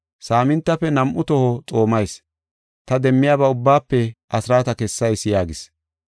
Saamintafe nam7u toho xoomayis, ta demmiyaba ubbaafe asraata kessayis’ yaagis.